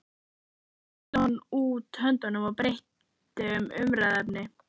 Síðan sló hann út höndunum og breytti um umræðuefni.